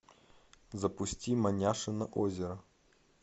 запусти маняшино озеро